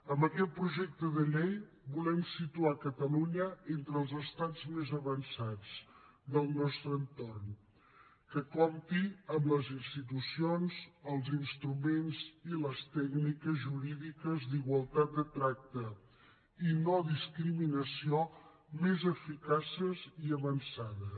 amb aquest projecte de llei volem situar catalunya entre els estats més avançats del nostre entorn que compti amb les institucions els instruments i les tècniques jurídiques d’igualtat de tracte i no discriminació més eficaces i avançades